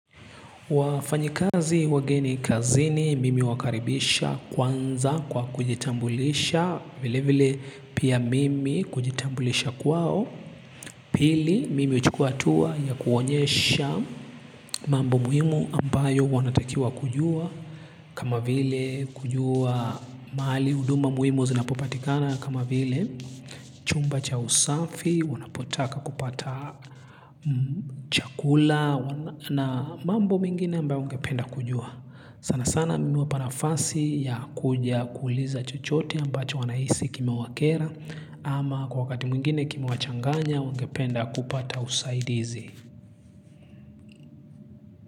Wafanyikazi wageni kazini mimi huwakaribisha kwanza kwa kujitambulisha vile vile pia mimi kujitambulisha kwao pili mimi uchukua hatuwa ya kuwaonyesha mambo muhimu ambayo wanatakiwa kujua kama vile kujua mahali huduma muhimu zinapopatikana kama vile chumba cha usafi wanapotaka kupata chakula na mambo mingine ambayo ungependa kujua. Sana sana mi huwapa nafasi ya kuja kuuliza chochote ambacho wanahisi kimewakera ama kwa wakati mwingine kimewachanganya wangependa kupata usaidizi.